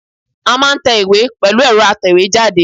A máa n te ìwé pẹ̀lú èro atèwé jáde